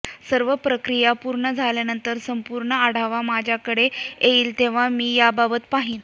सर्व प्रक्रिया पूर्ण झाल्यानंतर संपूर्ण आढावा माझ्याकडे येईल तेव्हा मी याबाबत पाहीन